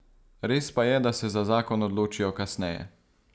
Res pa je, da se za zakon odločijo kasneje.